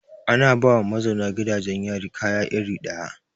Ana ba ma mazauna gidajen yari kaya iri ɗaya.